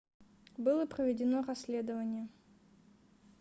было проведено расследование